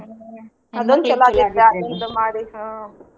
ಹ್ಮ ಅದೊಂದ ಚಲೊ ಆಗೇತ್ರಿ ಅದ ಇದನ್ನ ಮಾಡಿ ಹ್ಮ.